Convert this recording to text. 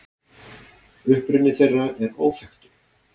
Uppruni þeirra er óþekktur.